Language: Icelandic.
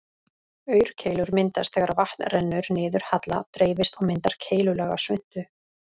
Aurkeilur myndast þegar vatn rennur niður halla, dreifist og myndar keilulaga svuntu.